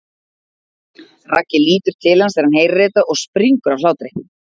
Raggi lítur til hans þegar hann heyrir þetta og springur af hlátri.